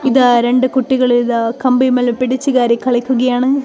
ഇതാ രണ്ടു കുട്ടികളിതാ കമ്പിയിന്മേൽ പിടിച്ചു കയറി കളിക്കുകയാണ്.